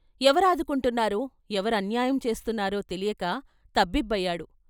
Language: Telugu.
ఎవరాదుకుంటున్నారో, ఎవరన్యాయం చేస్తున్నారో తెలియక తబ్బిబ్బయాడు.